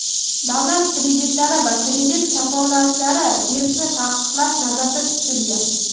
davlat kreditlari va kredit kafolatlari berishni taqiqlash nazarda tutilgan.